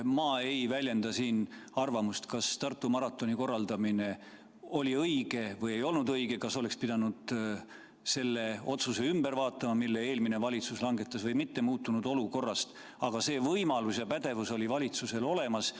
Ma ei väljenda siin arvamust, kas Tartu maratoni korraldamine oli õige või ei olnud õige, kas oleks pidanud muutunud olukorras selle otsuse, mille eelmine valitsus langetas, ümber vaatama või mitte, aga see võimalus ja pädevus oli valitsusel olemas.